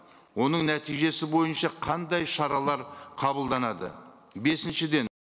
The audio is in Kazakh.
оның нәтижесі бойынша қандай шаралар қабылданады бесіншіден